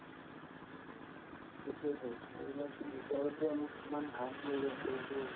সেইটোয়েতো এইবিলাকতো কিমান harm কৰি আছো এইটো